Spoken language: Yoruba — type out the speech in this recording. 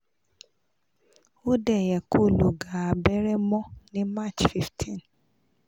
o de ye ko lo ga abere mo ni march fifteen